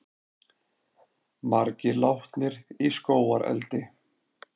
Margir látnir í skógareldi